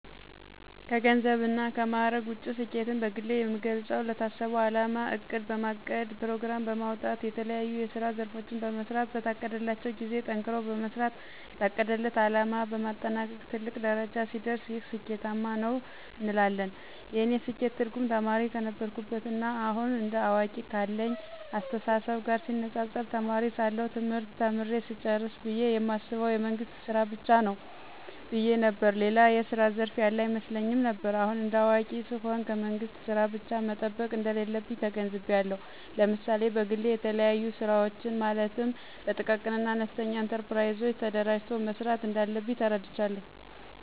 ከገንዘብ እና ከማዕረግ ውጭ ስኬትን በግሌ የምገልጸው ለታሰበው አላማ እቅድ በማቀድ ፕሮግራም በማውጣት የተለያዬ የስራ ዘርፎችን በመሥራት በታቀደላቸው ጊዜ ጠንክሮ በመስራት የታቀደለት አለማ በማጠናቀቅ ትልቅ ደረጃ ሲደርስ ይህ ስኬታማ ነው እንላለን። የእኔ ስኬት ትርጉም ተማሪ ከነበርኩበት ና አሁን እንደ አዋቂ ካለኝ አስተሳሰብ ጋር ሲነፃፀር ተማሪ ሳለሁ ትምህርት ተምሬ ስጨርስ ብየ የማስበው የመንግስት ስራ ብቻ ነው ብየ ነበር። ሌላ የስራ ዘርፍ ያለ አይመስለኝም ነበር። አሁን እንደ አዋቂ ስሆን ከመንግስት ስራ ብቻ መጠበቅ እንደሌለብኝ ተገንዝቤአለሁ። ለምሳሌ በግሌ የተለያዩ ስራወችን ማለትም በጥቃቅንና አነስተኛ ኢንተርፕራይዞች ተደራጅቶ መስራት እንዳለብኝ ተረድቻለሁ።